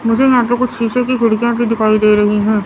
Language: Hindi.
मुझे यहां पे कुछ शीशे की खिड़कियां भी दिखाई दे रही हैं।